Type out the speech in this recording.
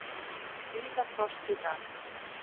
Víða frost í dag